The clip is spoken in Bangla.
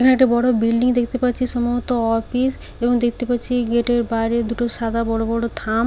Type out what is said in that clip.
এখানে একটা বড় বিল্ডিং দেখতে পাচ্ছি সম্ভবত অফিস এবং দেখতে পাচ্ছি এই গেট -এর বাইরে দুটো সাদা বড় বড় থাম।